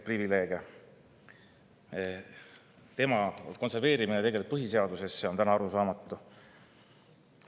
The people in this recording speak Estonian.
Tema konserveerimine põhiseadusesse on arusaamatu.